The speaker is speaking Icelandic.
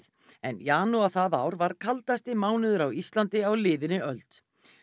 en janúar það ár var kaldasti mánuður á Íslandi á liðinni öld